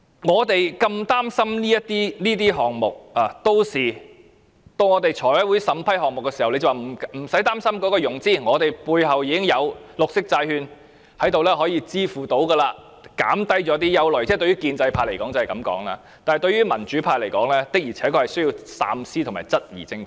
我們如此擔心這些項目，到財務委員會審批項目時，他們會說不用擔心融資問題，我們背後已經有綠色債券，能夠支付，可減低一些憂慮——建制派方面會這樣說——但對民主派來說，的確是需要三思和質疑政府的。